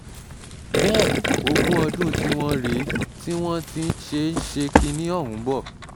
bẹ́ẹ̀ ogún ọdún tiwọn rèé tí wọ́n ti ń ṣe ń ṣe kinní ọ̀hún bọ̀